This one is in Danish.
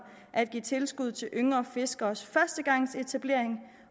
at give tilskud til yngre fiskeres førstegangsetablering